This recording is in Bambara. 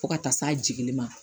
Fo ka taa s'a jiginli ma